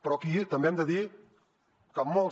però aquí també hem de dir que molts